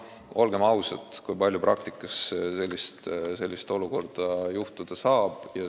Olgem ausad, kui palju ikka praktikas sellist olukorda ette tulla saab.